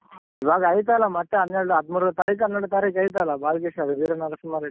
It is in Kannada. ಇವಾಗ್ ಐತಲ್ಲ ಮತ್ತೆ ಹನ್ನೆರ್ಡು ಹದ್ಮೂರ್ ತಾರೀಖ ಹನ್ನೆರ್ಡ್ ತಾರೀಖ ಐತಲ್ಲ ಬಾಲ್ಕೃಷ್ಣದು ವೀರ ನರಸಿಂಹ ರೆಡ್ಡಿ.